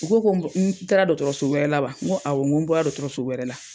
U ko ko n taara dɔɔtɔrɔso wɛrɛ la wa? Ŋo awɔ ŋo n bɔra dɔɔtɔrɔso wɛrɛ la.